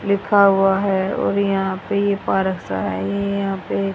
लिखा हुआ है और यहां पे ये पार्क सा है ये यहां पे--